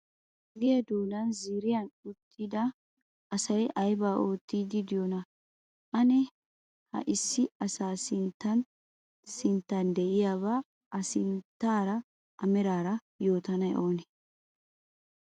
Ogiya doonan ziiriyan uttida asay aybaa oottiiddi de'iyonaa? Ane ha issi asaa sinttan sinttan de'iyabaa A sunttaara A meraara yootanay oonee?